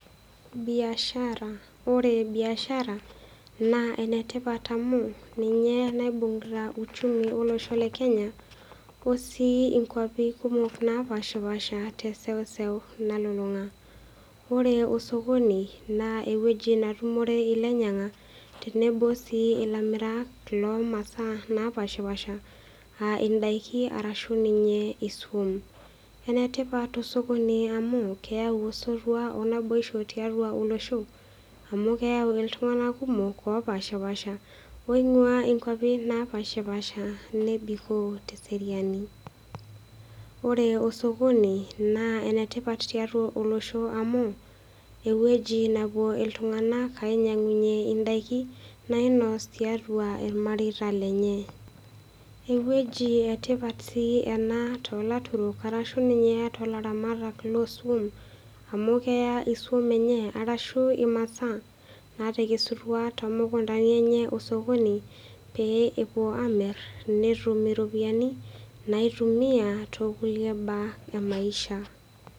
Biashara ore biashara naa enetipat oleng amu ninye naibung'ita uchumi olosho le Kenya o sii inkuapi kumok naapaaashipaasha te seuse nalulung'a. Ore osokoni naa ewueji natumore ilainyang'ak tenebo sii ilamirak loo masaa naapaashipaasha a indaiki arashu ninye isuan. Enetipat osokoni amu keyau osotua onaboisho amu keyau iltung'ana kumok lopaashipaasha nebikoo te seriani. Ore osokoni naa enetipat tiatua olosho amu ewueji nawuo iltung'ana ainyang'unye indaiki nainosh tiatua ilmareita lenye. Ewueji etipat sii ena toolaturuk arashu ninye toolaramatak losuan amu keya isuan enye arashu imasaa naatekesuta to mukundani enye osokoni, pee ewuo aamir netum iropiani naitumia tokulie baa emaisha.